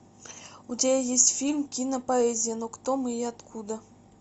у тебя есть фильм кинопоэзия но кто мы и откуда